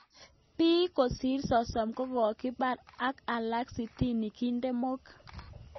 pik kosir 30 kokokipar ak alak sitini kiden mook